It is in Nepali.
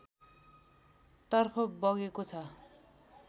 तर्फ बगेको छ